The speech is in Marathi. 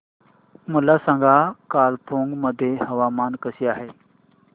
मला सांगा कालिंपोंग मध्ये हवामान कसे आहे